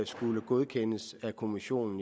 skulle godkendes af kommissionen